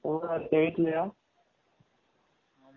சொல்ரா கேக்கலயா ?